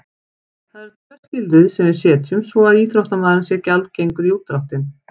Það eru tvö skilyrði sem við setjum svo að íþróttamaðurinn sé gjaldgengur í útdráttinn.